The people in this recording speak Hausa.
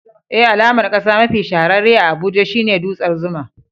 Eh, alamar kasa mafi shahararre a Abuja shine dutsen Zuma.